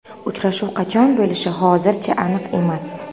Uchrashuv qachon bo‘lishi hozircha aniq emas.